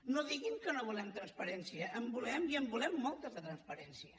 no diguin que no volem transparència en volem i en volem molta de transparència